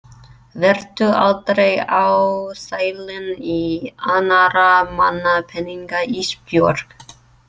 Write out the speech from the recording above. Vertu aldrei ásælin í annarra manna peninga Ísbjörg.